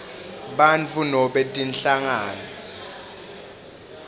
bantfu nobe tinhlangano